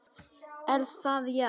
Er það já?